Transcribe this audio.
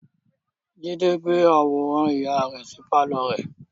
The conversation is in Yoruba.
Jide gbé àwòrán ìyá rẹ sí pàlọ́ rẹ̀